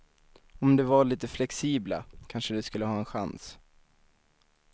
Om de var lite flexibla, kanske de skulle ha en chans.